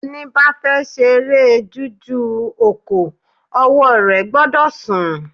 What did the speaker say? Ẹni ba fe ṣeré jújù òkò, ọwọ́ rẹ̀ gbọ́dọ̀ sùn